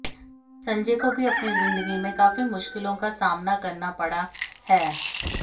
संजय को भी अपनी जिंदगी में काफी मुश्किलों का सामना करना पड़ा है